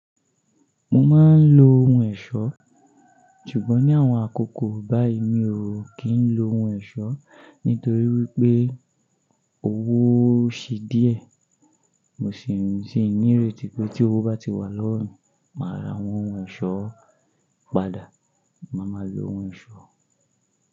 Mo máa ń lo ohun ẹ̀ṣọ́, ṣùgbọ́n ní àwọn àkókò báyiì mi ò kí ń lo ohun ẹ̀ṣọ́ nítorí wípé owó ṣe díẹ̀. Mo sì ń ìréti pé tí owó bá ti wà lọwọ mi màá ra àwọn ohun ẹ̀ṣọ́ padà, màá ma lo ohun ẹ̀ṣọ́